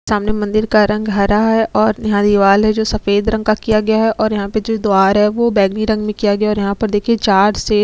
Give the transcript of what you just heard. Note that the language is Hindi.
सामने मंदिर का रंग हरा है और यह दीवाल है जो सफेद रंग का किया हुआ है और यहाँ पे जो द्वार है वो बैगनी रंग में किया गया है और यहाँ पर देखिए चार शेर--